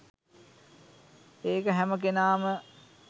ඒක හැම කෙනාම